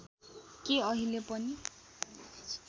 के अहिले पनि